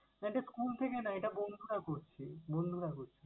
না এটা school থেকে না, এটা বন্ধুরা করছে, বন্ধুরা করছে।